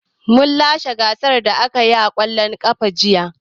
Mun lashe gasar da aka yi na ƙwallon ƙafa jiya.